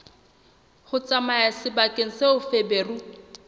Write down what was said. ho tsamaya sebakeng seo feberu